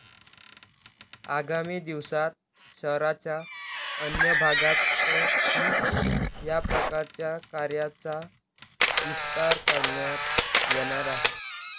आगामी दिवसात शहराच्या अन्य भागातही याप्रकारच्या कार्याचा विस्तार करण्यात येणार आहे.